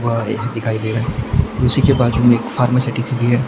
वह एक दिखाई दे रहा है उसी के बाजू में एक भी है।